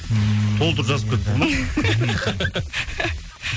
ммм толтырып жазып кетіп